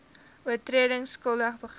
oortredings skuldig bevind